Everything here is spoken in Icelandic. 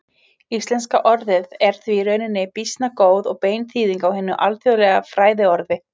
Íslenska orðið er því í rauninni býsna góð og bein þýðing á hinu alþjóðlega fræðiorði.